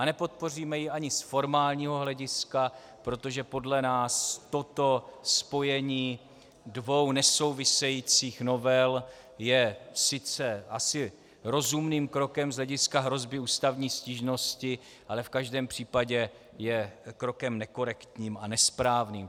A nepodpoříme ji ani z formálního hlediska, protože podle nás toto spojení dvou nesouvisejících novel je sice asi rozumným krokem z hlediska hrozby ústavní stížnosti, ale v každém případě je krokem nekorektním a nesprávným.